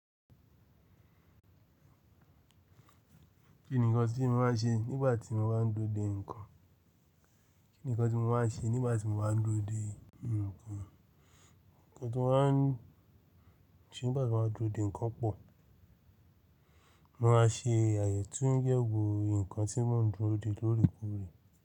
Kí nìkan tí mo má a ṣe nígbà tí mo bá ń dúró de ǹkan? Kí nìkan tí mo wà ṣe nígbà tí mo bá ń dúró de ǹkan? Ǹkan tí mo maa ńse, nígbà tí mo bá a n dúró de ǹkan pọ̀, mo máa ṣe àyetunyewo ǹkan tí mo ń dúró de lórekore.